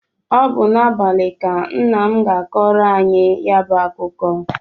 Ọ bụ n'abalị ka nna m ga-akọrọ anyị ya bụ akụkọ.